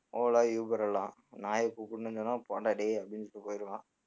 ola, uber எல்லாம் நாயைக் கூப்பிடணும்னு சொன்ன போடா டேய் அப்படின்னுட்டு போயிடுவான்